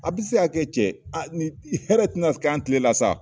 A bɛ se ka kɛ cɛ ni hɛrɛ tɛ na kɛ an tile la sa.